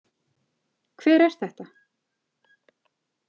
Hver er þetta?